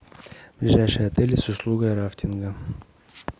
ближайшие отели с услугой рафтинга